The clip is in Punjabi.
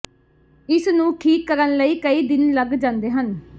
ਇਸ ਨੂੰ ਠੀਕ ਕਰਨ ਲਈ ਕਈ ਦਿਨ ਲੱਗ ਜਾਂਦੇ ਹਨ